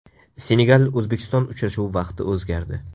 Senegal O‘zbekiston uchrashuvi vaqti o‘zgardi.